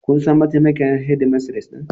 Kun san mataimakiyar shedimistres din?